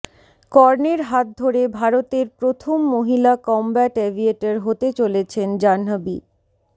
কর্ণের হাত ধরে ভারতের প্রথম মহিলা কমব্যাট এভিয়েটর হতে চলেছেন জাহ্নবী